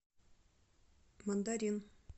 мандарин